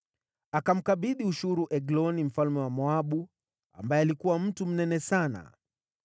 Akamkabidhi ushuru Egloni mfalme wa Moabu, ambaye alikuwa mtu mnene sana.